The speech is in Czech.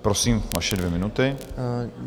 Prosím, vaše dvě minuty.